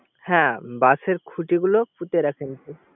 হ্যা বাশের খুটিগুলো পুতে রাখেন